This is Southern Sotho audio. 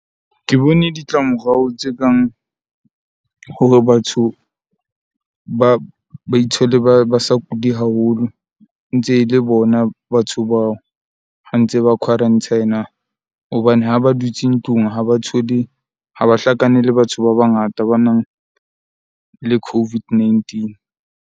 Ke bone ditlamorao tse kang hore batho ba ba ithole, ba ba sa kule haholo. Ntse e le bona batho bao, ba ntse ba quarantine-a hobane ha ba dutse ntlung ha ba thole ha ba hlakane le batho ba bangata ba nang le COVID-19.